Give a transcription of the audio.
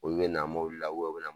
Olu bɛna mobili la u bɛna